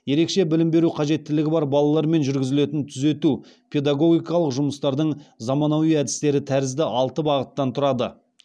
ерекше білім беру қажеттіліктері бар балалармен жүргізілетін түзету педагогикалық жұмыстардың заманауи әдістері тәрізді алты бағыттан тұрады